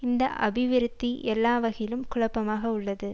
இந்த அபிவிருத்தி எல்லா வகையிலும் குழப்பமாக உள்ளது